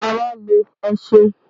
Ara le, ẹ ṣeun.